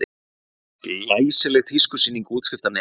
Glæsileg tískusýning útskriftarnema